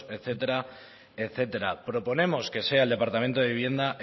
etcétera etcétera proponemos que sea el departamento de vivienda